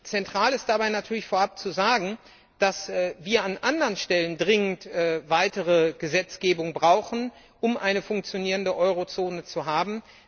Zentral ist es dabei natürlich, vorab zu sagen, dass wir an anderen Stellen dringend weitere Gesetzgebung brauchen, um eine funktionierende Eurozone zu haben.